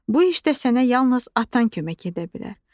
Bu işdə sənə yalnız atan kömək edə bilər.